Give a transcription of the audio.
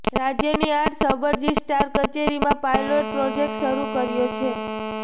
રાજયની આઠ સબરજિસ્ટ્રાર કચેરીમાં પાયલોટ પ્રોજેકટ શરૃ કર્યો છે